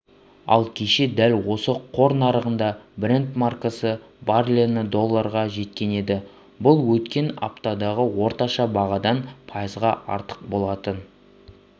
ал кеше дәл осы қор нарығында брент маркасы барреліне долларға жеткен еді бұл өткен аптадағы орташа бағадан пайызға артық болатын